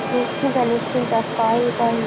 ନିଶ୍ଚିନ୍ତ ନିଶ୍ଚିନ୍ତ କହିବି କହିବି।